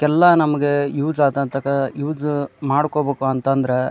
ಎಲ್ಲಾ ನಮ್ಮಗೆ ಯೂಸ್ ಆದಂತಕ ಯೂಸ್ ಮಾಡಕೋಬೇಕು ಅಂತ ಅಂದ್ರೆ --